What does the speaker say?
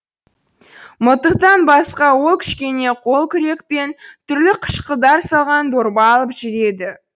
мылтықтан басқа ол кішкене қол күрек пен түрлі қышқылдар салған дорба алып жүреді